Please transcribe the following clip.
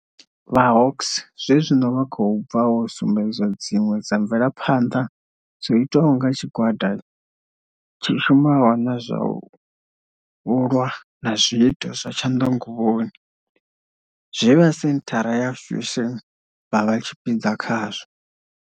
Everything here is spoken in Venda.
Vha Hawks zwezwino vha khou tou bva u sumbedza dziṅwe dza mvelaphanḓa dzo itwaho nga tshigwa da tshi shumaho na zwa u lwa na zwiito zwa tshanḓanguvhoni, zwe vha senthara ya Fusion vha vha tshipiḓa tshazwo.